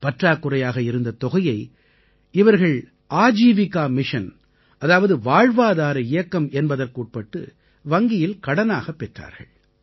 பற்றாக்குறையாக இருந்த தொகையை இவர்கள் ஆஜீவிகா மிஷன் அதாவது வாழ்வாதார இயக்கம் என்பதற்கு உட்பட்டு வங்கியில் கடனாகப் பெற்றார்கள்